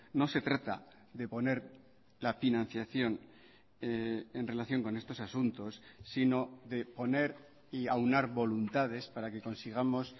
no se trata de poner la financiación en relación con estos asuntos sino de poner y aunar voluntades para que consigamos